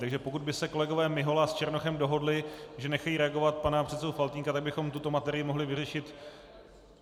Takže pokud by se kolegové Mihola s Černochem dohodli, že nechají reagovat pana předsedu Faltýnka, tak bychom tuto materii mohli vyřešit.